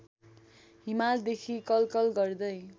हिमालदेखि कलकल गर्दै